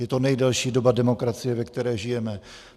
Je to nejdelší doba demokracie, ve které žijeme.